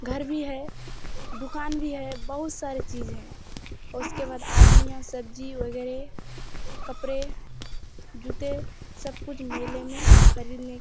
घर भी है दुकान भी है बहुत सारा चीज़ हैं उसके बाद आदमी यहाँ सब्जी वैगेरह कपड़े जूते सब कुछ मेले में खरीदने --